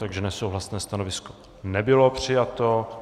Takže nesouhlasné stanovisko nebylo přijato.